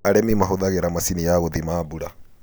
Arĩmi mahũthagĩra macini ya gũthima mbura.